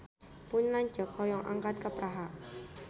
Pun lanceuk hoyong angkat ka Praha